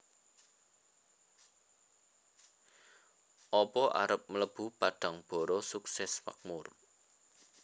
Opo arep mlebu Padangbara Sukses Makmur